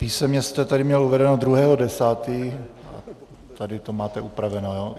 Písemně jste tady měl uvedeno 2. 10., tady to máte upraveno.